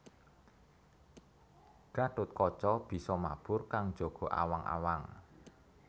Gatotkaca bisa mabur kang njaga awang awang